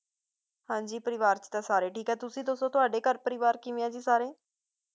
ਹਾਂਜੀ ਪਰਿਵਾਰ ਚ ਤਾਂ ਸਾਰੇ ਠੀਕ ਆ ਤੁਸੀ ਦੱਸੋ ਤੁਹਾਡੇ ਘਰ ਪਰਿਵਾਰ ਕਿਵੇਂ ਆ ਜੀ ਸਭ ਸਾਰੇ